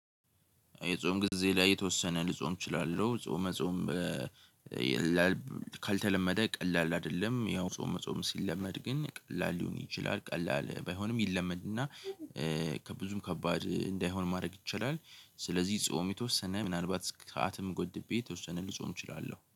የጾም ጊዜ ላይ የተወሰነ ልጾም እችላለሁ ጾመ ጾም ካልተለመደ ቀላል አይደለም። ያው ጾም ጾም ሲለመድ ግን ቀላል ሊሆን ይችላል ቀላል ባይሆንም ይለመድና። ከብዙም ከባድ እንዳይሆን ማድረግ ይቻላል። ስለዚህ ጾም የተወሰነ ምናልባት ሰአቱን ገድቤ የተወሰነ ልጾም እችላለሁ